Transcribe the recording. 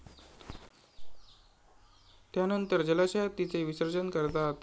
त्यानंतर जलाशयात तिचे विसर्जन करतात.